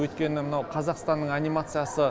өйткені мынау қазақстанның анимациясы